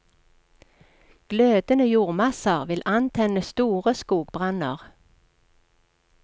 Glødende jordmasser vil antenne store skogbranner.